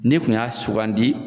N'i kun y'a sugandi